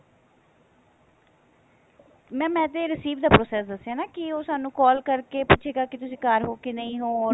mam ਇਹ ਤੇ receive ਦਾ process ਦੱਸਿਆ ਕੀ ਉਹ ਸਾਨੂੰ call ਕਰਕੇ ਪੁੱਛੇਗਾ ਕੀ ਤੁਸੀਂ ਘਰ ਹੋ ਕੇ ਨਹੀਂ ਹੋ